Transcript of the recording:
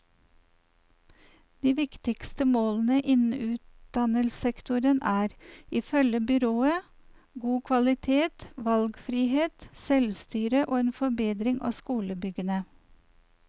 De viktigste målene innen utdannelsessektoren er, ifølge byrådet, god kvalitet, valgfrihet, selvstyre og en forbedring av skolebyggene.